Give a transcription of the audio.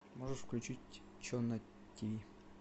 можешь включить че на тв